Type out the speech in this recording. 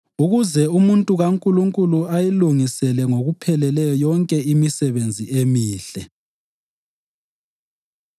ukuze umuntu kaNkulunkulu ayilungisele ngokupheleleyo yonke imisebenzi emihle.